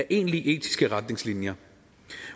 egentlige etiske retningslinjer